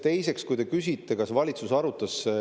Teiseks, te küsisite, kas valitsus arutas.